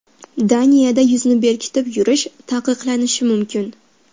Daniyada yuzni bekitib yurish taqiqlanishi mumkin.